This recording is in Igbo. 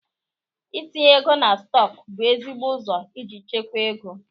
I tinye ego na stọk bụ ezigbo ụzọ iji chekwa ego.